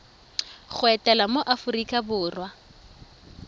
go etela mo aforika borwa